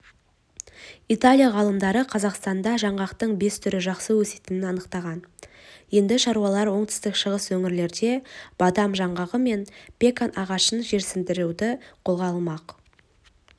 италия ғалымдары қазақстанда жаңғақтың бес түрі жақсы өсетінін анықтаған енді шаруалар оңтүстік-шығыс өңірлерде бадам жаңғағы мен пекан ағашын жерсіндіруді қолға алмақ